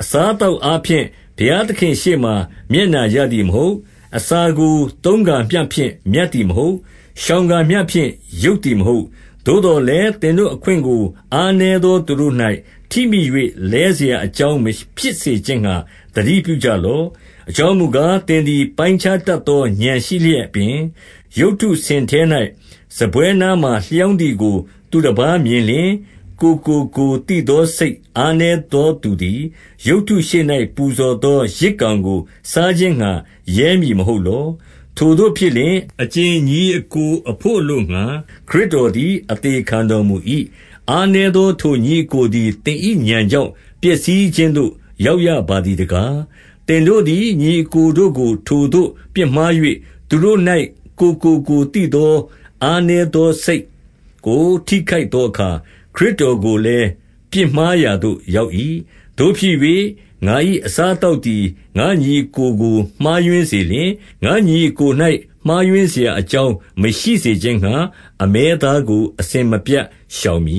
အစားအသောက်အားဖြင့် ဘုရားသခင်ရှေ့မှာ မျက်နှာရသည်မဟုတ်။ အစားကိုသုံးကာမျှဖြင့် မြတ်သည် မဟုတ်။ ရှောင်ကာမျှဖြင့် ယုတ်သည်မဟုတ်။ 9 သို့သော်လည်း၊ သင်တို့အခွင့်ကိုအားနည်းသော သူတို့၌ ထိမိ၍ လဲစရာအကြောင်း မဖြစ်စေခြင်းငှါ သတိ ပြုကြလော့။ 10 အကြောင်းမူကား၊ သင်သည် ပိုင်းခြားတတ်သော ဥာဏ်ရှိလျက်ပင်၊ ရုပ်တုစင်ထဲ၌ စားပွဲနားမှာ လျောင်းသည်ကို သူတပါးမြင်လျှင်၊ ကိုယ်ကိုကိုယ်သိသော စိတ်အားနည်းသောသူသည်၊ ရုပ်တုရှေ့၌ ပူဇော်သော ယဇ်ကောင်ကို စားခြင်းငှါ ရဲမည်မဟုတ်လော။ 11 ထိုသို့ဖြစ်လျှင်၊ အကြင်ညီအစ်ကိုအဘို့အလို့ငှါ ခရစ်တော်သည် အသေခံတော်မူ၏။ အားနည်းသော ထိုညီအစ်ကိုသည် သင်၏ဥာဏ် ကြောင့်ပျက်စီးခြင်းသို့ ရောက်ရပါသည်တကား၊ 12 သင်တို့သည်၊ ညီအစ်ကိုတို့ကို ထိုသို့ပြစ်မှား၍ သူတို့၌ ကိုယ်ကို ကိုယ်သိသော အားနည်းသောစိတ်ကို ထိခိုက်သောအခါ၊ ခရစ်တော်ကိုလည်း ပြစ်မှားရာသို့ ရောက်၏။ 13 သို့ဖြစ်၍၊ ငါ၏အစားအသောက်သည် ငါ့ညီအစ်ကိုကို မှားယွင်းစေလျှင်၊ ငါ့ညီအစ်ကို၌ မှားယွင်း စရာအကြောင်းမရှိစေခြင်းငှါ၊ အမဲသားကို အစဉ်မပြတ် ရှောင်မ